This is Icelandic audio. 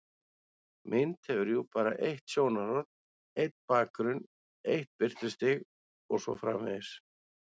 Mynd hefur jú bara eitt sjónarhorn, einn bakgrunn, eitt birtustig og svo framvegis.